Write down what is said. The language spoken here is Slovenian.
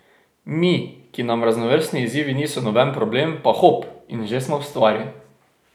Mi, ki nam raznovrstni izzivi niso noben problem, pa hop, in že smo v stvari.